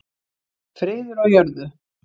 friður á jörðu